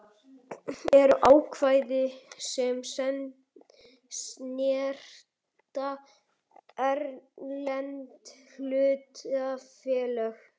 eru ákvæði sem snerta erlend hlutafélög.